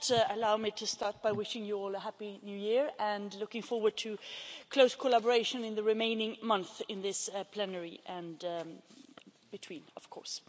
Madam President, allow me to start by wishing you all a Happy New Year and I am looking forward to close collaboration in the remaining months in this plenary, and between, of course.